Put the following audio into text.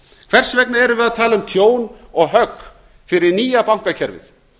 hvers vegna erum við að tala um tjón og högg fyrir nýja bankakerfið